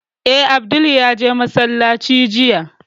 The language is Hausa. Eh, Abdul ya je masallaci jiya